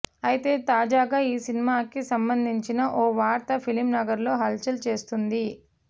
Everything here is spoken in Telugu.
అయితే తాజాగా ఈ సినిమాకి సంబందించిన ఓ వార్త ఫిల్మ్ నగర్లో హల్ చల్ చేస్తుంది